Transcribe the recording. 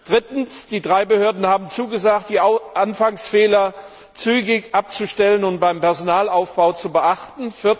Drittens Die drei Behörden haben zugesagt, die Anfangsfehler zügig abzustellen und beim Personalaufbau zu beachten.